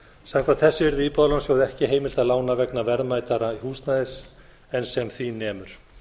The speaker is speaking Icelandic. samkvæmt þessu yrði íbúðalánasjóði ekki heimilt að lána vegna verðmætara húsnæðis en sem því nemur